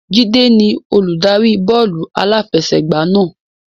Jide ni Olùdarí bọ́ọ̀lù aláfẹsẹ̀gbá náà